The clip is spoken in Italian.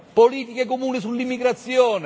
politiche comuni sull'immigrazione.